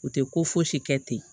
U tɛ ko fosi kɛ ten